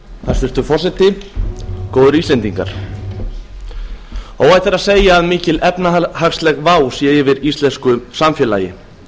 hæstvirtur forseti góðir íslendingar óhætt er að segja að mikil efnahagsleg vá sé yfir íslensku samfélagi